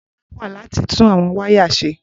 Bola wá láti tún àwọn wáyà ṣe.